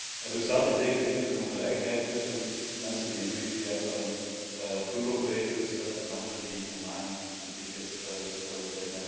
Er bestaat in zekere zin dus een ongelijkheid tussen mensen die een vlucht via een touroperator bestellen en anderen die online een ticket bestellen.